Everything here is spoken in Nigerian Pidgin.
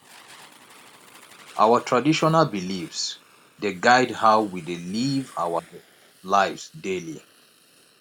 our traditional beliefs dey guide how we dey live our lives daily